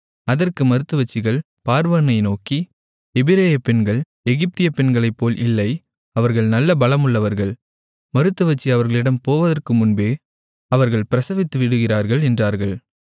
அதற்கு மருத்துவச்சிகள் பார்வோனை நோக்கி எபிரெய பெண்கள் எகிப்திய பெண்களைப்போல் இல்லை அவர்கள் நல்ல பலமுள்ளவர்கள் மருத்துவச்சி அவர்களிடம் போவதற்கு முன்பே அவர்கள் பிரசவித்துவிடுகிறார்கள் என்றார்கள்